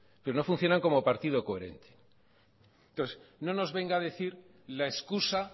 que no funcionan como partido coherente entonces no nos venga a decir la excusa